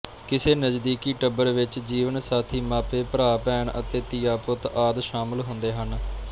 ਕਿਸੇ ਨਜ਼ਦੀਕੀ ਟੱਬਰ ਵਿੱਚ ਜੀਵਨਸਾਥੀ ਮਾਪੇ ਭਰਾਭੈਣ ਅਤੇ ਧੀਆਂਪੁੱਤ ਆਦ ਸ਼ਾਮਲ ਹੁੰਦੇ ਹਨ